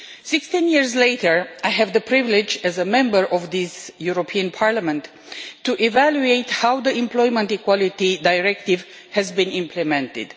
Sixteen years later, I have the privilege as a Member of this European Parliament to evaluate how the Employment Equality Directive has been implemented.